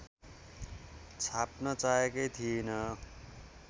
छाप्न चाहेकै थिइँन